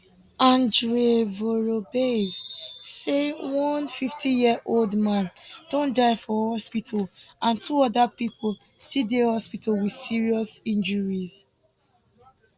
andrei vorobyev tok say one 50yearold man don die for hospital and two oda pipo still dey hospital wit serious injuries